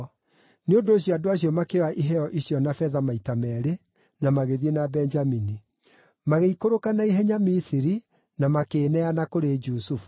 Nĩ ũndũ ũcio andũ acio makĩoya iheo icio na betha maita meerĩ, na magĩthiĩ na Benjamini. Magĩikũrũka na ihenya Misiri na makĩĩneana kũrĩ Jusufu.